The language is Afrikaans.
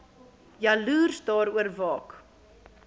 jaloers daaroor waak